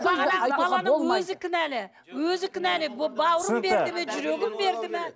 бағанағы баланың өзі кінәлі өзі кінәлі бауырын берді ме жүрегін берді ме